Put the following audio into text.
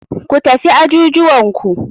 Ku tafi ajujuwanku.